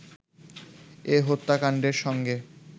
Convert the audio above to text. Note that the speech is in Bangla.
এ হত্যাকাণ্ডের সঙ্গে